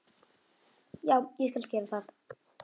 já, ég skal gera það.